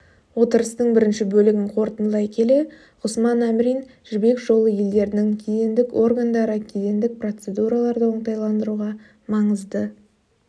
отырыстың бірінші бөлігін қортындылай келе ғұсман әмірин жібек жолы елдерінің кедендік органдары кедендік процедураларды оңтайландыруға маңызды